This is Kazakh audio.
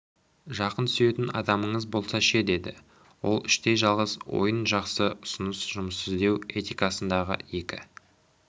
жақын сүйетін адамыңыз болса ше деді ол іштей жалғыз ойын жақсы ұсыныс жұмыс іздеу этикасындағы екі